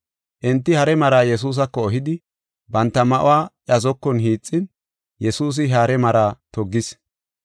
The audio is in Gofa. Enti hare maraa Yesuusako ehidi, banta ma7uwa iya zokon hiixin Yesuusi he hare maraa toggis.